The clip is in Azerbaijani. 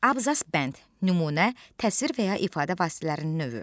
Abzas bənd, nümunə, təsvir və ya ifadə vasitələrinin növü.